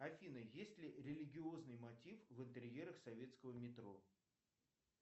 афина есть ли религиозный мотив в интерьерах советского метро